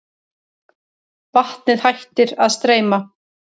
Vatnið hættir að streyma.